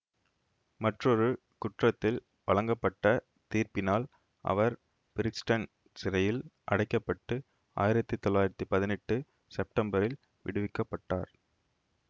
மற்றொரு குற்றத்தில் வழங்கப்பட்ட தீர்ப்பினால் அவர் பிரிக்ஸ்டன் சிறையில் அடைக்க பட்டு ஆயிரத்தி தொள்ளாயிரத்தி பதினெட்டு செப்டம்பரில் விடுவிக்கப் பட்டார்